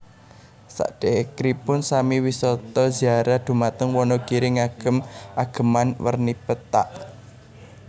Sadekripun sami wisata ziarah dumateng Wonogiri ngagem ageman werni pethak